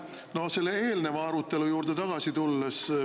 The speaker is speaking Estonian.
Tulen selle eelneva arutelu juurde tagasi.